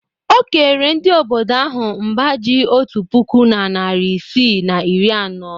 O kere ndị obodo ahụ mbá ji otu puku na narị isii na iri anọ.